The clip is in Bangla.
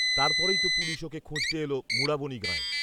তারপরেই তো পুলিশ ওকে খুঁজতে এল মুঢ়াবনি গাঁয়ে